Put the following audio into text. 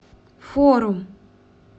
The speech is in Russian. форум